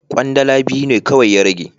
Kwandala biyu ne kawai ya rage.